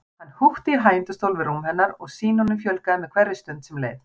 Hann húkti í hægindastól við rúm hennar og sýnunum fjölgaði með hverri stund sem leið.